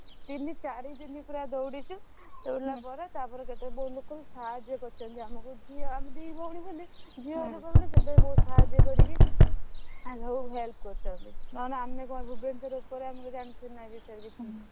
ତିନି ଚାରି ଦିନ ପୁରା ଦୌଡିଛୁ ଦୌଡିଲା ପରେ ତାପରେ କେତେ ବହୁତ ଲୋକ ବି ସାହାଯ୍ୟ କରିଛନ୍ତି ଆମକୁ ଝିଅ ଆମେ ଦି ଭଉଣୀ ବୋଲି ଝିଅ ଲୋକ ବୋଲିକି ସେଇଥିପାଇଁ ବହୁତ ସାହାଜ୍ୟ କରିକି ଆମକୁ help କରିଛନ୍ତି ନହେଲେ ଆମେ ଙ୍କ ଭୂବନେଶ୍ବର ଉପରେ ଆମେ ଙ୍କ ଜାଣିଥିଲୁ ନା ଏଇ ବିଷୟରେ କିଛି।